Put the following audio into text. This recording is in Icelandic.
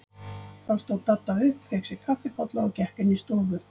Þá stóð Dadda upp, fékk sér kaffibolla og gekk inn í stofu.